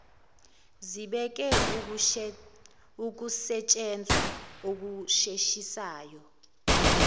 zibeke ukusetshenzwa okusheshisayo